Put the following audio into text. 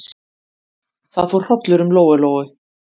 Það fór hrollur um Lóu-Lóu.